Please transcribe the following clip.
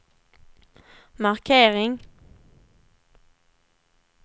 markering